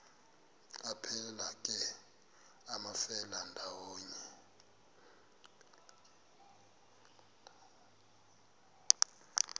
aphelela ke amafelandawonye